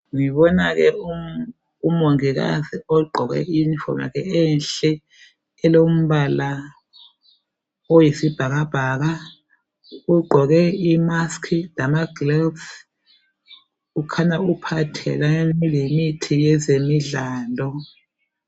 Ngibona ke umongikazi ogqoke iyunifomu yakhe enhle elombala oyisibhakabhaka, ugqoke imask lamagloves ukhanya uphatheke lemithi yezemidlalo.